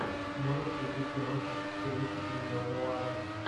можешь включить киношку в стилистике нео нуара